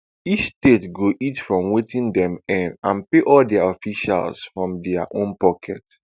each state go eat from wetin dem earn and pay all dia officials from dia own pocket